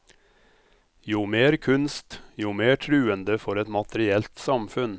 Jo mer kunst, jo mer truende for et materielt samfunn.